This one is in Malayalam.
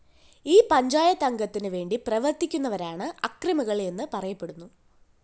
ഈ പഞ്ചായത്ത് അംഗത്തിനുവേണ്ടി പ്രവര്‍ത്തിക്കുന്നവരാണ് അക്രമികള്‍ എന്നു പറയപ്പെടുന്നു